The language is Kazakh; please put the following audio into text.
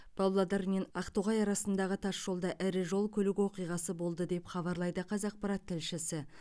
павлодар мен ақтоғай арасындағы тасжолда ірі жол көлік оқиғасы болды деп хабарлайды қазақпарат тілшісі